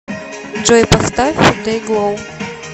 джой поставь дэйглоу